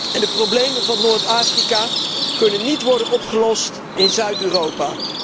En de problemen voor Noord Afrika kunnen niet worden opgelost in Zuid Europa.